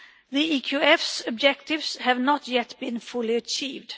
The EQF's objectives have not yet been fully achieved.